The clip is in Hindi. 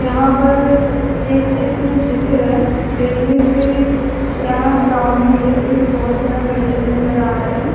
यहाँ पर एक चित्र दिख रहा है दिखने से यहाँ सामने एक बहुत बड़ा बिल्डिंग नज़र आ रहा है।